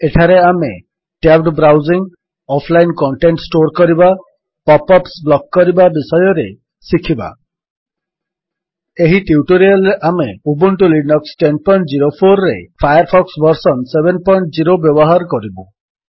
ଏଠାରେ ଆମେ tabbed browsing offline content store କରିବା ପପ୍ ଅପ୍ସ ବ୍ଲକ୍ କରିବା ବିଷୟରେ ଶିଖିବା ଏହି ଟ୍ୟୁଟୋରିଆଲ୍ ରେ ଆମେ ଉବୁଣ୍ଟୁ ଲିନକ୍ସ ୧୦୦୪ରେ ଫାୟାରଫକ୍ସ ଭର୍ସନ୍ ୭୦ ବ୍ୟବହାର କରିବୁ